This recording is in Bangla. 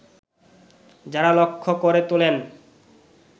যাঁরা লক্ষ্য করে তোলেন